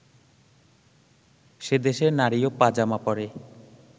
সে দেশে নারীও পা-জামা পরে